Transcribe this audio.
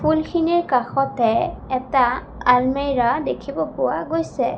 ফুলখিনিৰ কাষতে এটা আলমিৰা দেখিব পোৱা গৈছে।